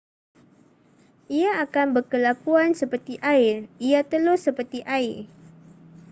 ia akan berkelakuan seperti air ia telus seperti air